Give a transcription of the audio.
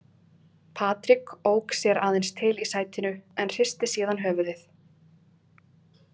Patrik ók sér aðeins til í sætinu en hristi síðan höfuðið.